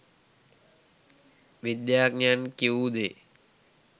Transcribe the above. විද්‍යාඥයන් කිවූ දේ